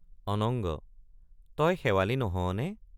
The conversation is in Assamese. অনঙ্গ—তই শেৱালি নহৱনে?